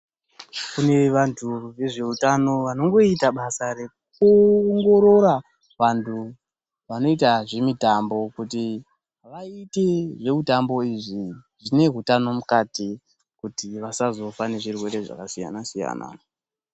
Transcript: Kune vantu vezveutano vanoita basa rekuwongorora vantu vanoita zvemitambo kuti vaite zvemitambo izvi zvine utano mukati kuti vasazofa nezvirwere zvakasiyana siyana.